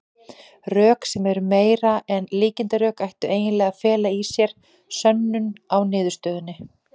Rök, sem eru meira en líkindarök, ættu eiginlega að fela í sér sönnun á niðurstöðunni.